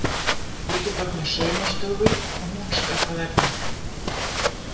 Ég get opnað saumastofu og hún skaffað efnið.